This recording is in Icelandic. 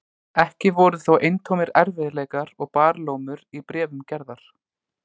Ekki voru þó eintómir erfiðleikar og barlómur í bréfum Gerðar.